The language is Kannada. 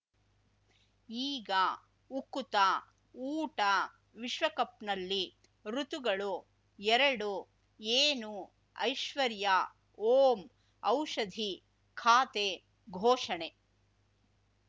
ಈಗ ಉಕುತ ಊಟ ವಿಶ್ವಕಪ್‌ನಲ್ಲಿ ಋತುಗಳು ಎರಡು ಏನು ಐಶ್ವರ್ಯಾ ಓಂ ಔಷಧಿ ಖಾತೆ ಘೋಷಣೆ